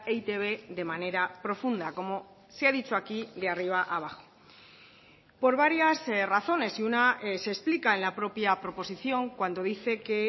e i te be de manera profunda como se ha dicho aquí de arriba abajo por varias razones y una se explica en la propia proposición cuando dice que